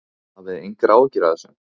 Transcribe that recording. Hafið þið engar áhyggjur af þessu?